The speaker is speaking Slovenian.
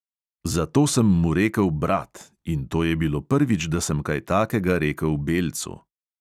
Zato sem mu rekel brat, in to je bilo prvič, da sem kaj takega rekel belcu.